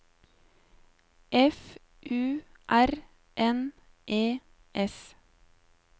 F U R N E S